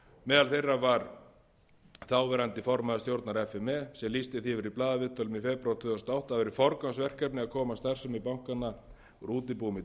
meðal þeirra var þáverandi formaður stjórnar f m e sem lýsti því yfir í blaðaviðtölum í febrúar tvö þúsund og átta að væri forgangsverkefni að koma starfsemi bankanna úr útibúum í